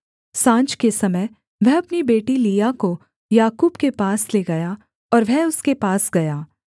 साँझ के समय वह अपनी बेटी लिआ को याकूब के पास ले गया और वह उसके पास गया